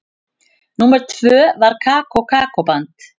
Númer tvö var Kókó-band.